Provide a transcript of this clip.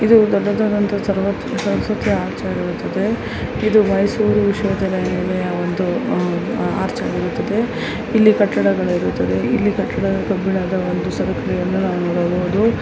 ಇದೊಂದು ದೊಡ್ಡದಾದಂತಹ ಒಂದು ಆರ್ಚ್ ಆಗಿರುತ್ತದೆ ಇದು ಮೈಸೂರು ವಿಶ್ವವಿದ್ಯಾನಿಲಯವಾಗಿದ್ದುಅಹ್ ಒಂದು ಆರ್ಚ್ ಆಗಿರುತ್ತದೆ ಇಲ್ಲಿ ಕಟ್ಟಡಗಳು ಇರುತ್ತವೆ ಇಲ್ಲಿ ಕಟ್ಟಡದ ಕಬ್ಬಿಣದ ಒಂದು ಸರಪಣಿಯನ್ನು ನಾವು ನೋಡಬಹುದು.